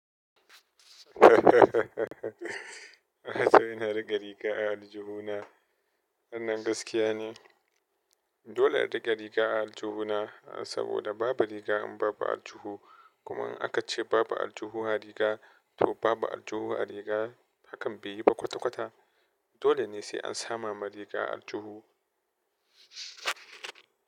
Sai na riƙe riga a aljuhu na. Dan gaskiya ni. Dole in riƙe riga a aljuhu na saboda babu riga in babu aljuhu. Kuma in aka ce babu aljihu a riga to babu aljihu a riga. Hakan bai yi ba kwata-kwata. Dole ne sai an sama ma riga aljuhu.